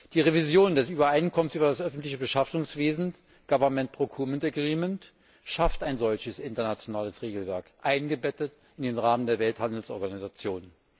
Die Revision des Übereinkommens über das öffentliche Beschaffungswesen Government Procurement Agreement schafft ein solches internationales Regelwerk, eingebettet in den Rahmen der Welthandelsorganisation.